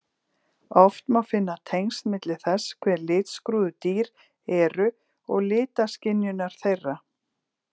Oft má finna tengsl milli þess hve litskrúðug dýr eru og litaskynjunar þeirra.